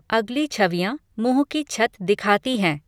अगली छवियाँ मुँह की छत दिखाती हैं।